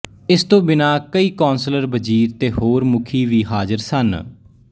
ਇਸ ਤੋਂ ਬਿਨਾਂ ਕਈ ਕੌਂਸਲਰ ਵਜ਼ੀਰ ਤੇ ਹੋਰ ਮੁਖੀ ਵੀ ਹਾਜ਼ਰ ਸਨ